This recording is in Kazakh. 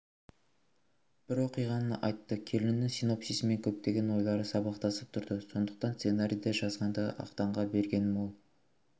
бір оқиғаны айтты келіннің синопсисімен көптеген ойлары сабақтасып тұрды сондықтан сценарийді жазғанда ақтанға бергенмін ол